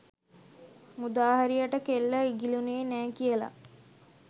මුදාහැරියට කෙල්ල ඉගිලුනේ නෑ කියල.